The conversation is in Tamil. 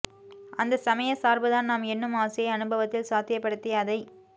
அந்த சமயச் சார்புதான் நாம் எண்ணும் ஆசையை அனுபவத்தில் சாத்தியப்படுத்தி அதைத்